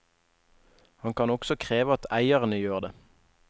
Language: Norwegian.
Han kan også kreve at eierne gjør det.